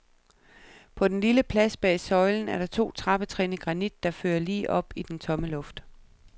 På den lille plads bag søjlen er der to trappetrin i granit, der fører lige op i den tomme luft.